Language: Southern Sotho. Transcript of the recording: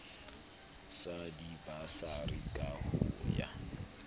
sa dibasari ka ho ya